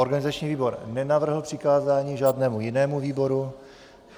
Organizační výbor nenavrhl přikázání žádnému jinému výboru.